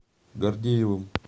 гордеевым